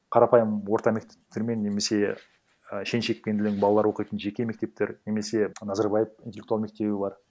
қарапайым орта мектептермен немесе і шен шекпенділі балалар оқитын жеке мектептер немесе назарбаев интеллектуал мектебі бар